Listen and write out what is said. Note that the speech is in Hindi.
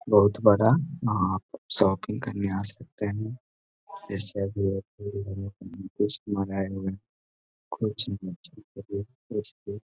बहुत बड़ा यहाँ आप शॉपिंग करने आ सकते है जैसे कि यहाँ बहुत सारे आए हुए है कुछ और कुछ